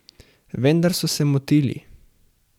Vendar so se motili.